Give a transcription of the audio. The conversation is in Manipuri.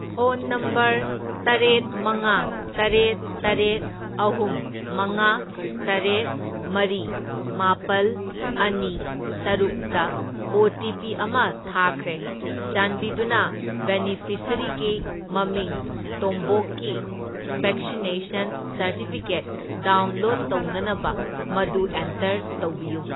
ꯐꯣꯟ ꯅꯝꯕꯔ ꯇꯔꯦꯠ, ꯃꯉꯥ, ꯇꯔꯦꯠ, ꯇꯔꯦꯠ, ꯑꯍꯨꯝ, ꯃꯉꯥ, ꯇꯔꯦꯠ, ꯃꯔꯤ, ꯃꯥꯄꯜ, ꯑꯅꯤ, ꯇꯔꯨꯛꯇ ꯑꯣ.ꯇꯤ.ꯄꯤ. ꯑꯃ ꯊꯥꯈꯔꯦ꯫ ꯆꯥꯟꯕꯤꯗꯨꯅ ꯕꯦꯅꯤꯐꯤꯁꯔꯤꯒꯤ ꯃꯃꯤꯡ ꯇꯣꯝꯕꯣꯛꯀꯤ ꯕꯦꯛꯁꯤꯅꯦꯁꯟ ꯁꯔꯇꯤꯐꯤꯀꯦꯠ ꯗꯥꯎꯟꯂꯣꯗ ꯇꯧꯅꯅꯕ ꯃꯗꯨ ꯑꯦꯟꯇꯔ ꯇꯧꯕꯤꯌꯨ꯫